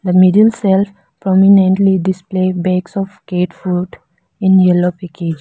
the middle shelf prominently display bags of cat food in yellow package.